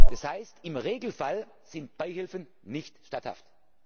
Das heißt, im Regelfall sind Beihilfen nicht statthaft.